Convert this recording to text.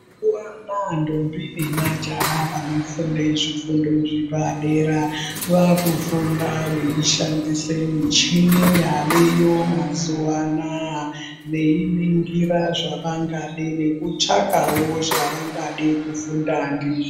Mazuwa anaa ndombi nemajaha vanofunda zvifundo zvepadera, vaakufunda veishandise michini yaveyo mazuwa anaa veiningira zvavangade nekutsvakawo zvavangade kufunda ndizvo.